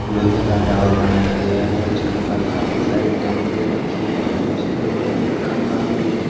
लोहे का टावर बनाया गया है जहां पर काफी सारी टंकिया रखी हुई हैं उसके बगल में एक खंबा भी है।